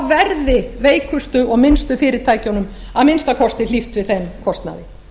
verði veikustu og minnstu fyrirtækjunum að minnsta kosti hlíft við þeim kostnaði